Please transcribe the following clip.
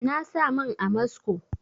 Na sa man amasco